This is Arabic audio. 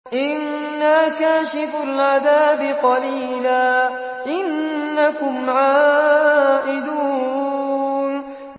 إِنَّا كَاشِفُو الْعَذَابِ قَلِيلًا ۚ إِنَّكُمْ عَائِدُونَ